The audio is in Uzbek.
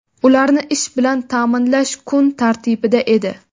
ularni ish bilan ta’minlash kun tartibida edi.